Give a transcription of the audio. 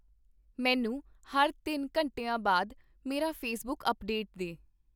ਮੈਨੂੰ ਹਰ ਤਿੰਨ ਘੰਟਿਆਂ ਬਾਅਦ ਮੇਰਾ ਫੇਸਬੁੱਕ ਅਪਡੇਟ ਦੇ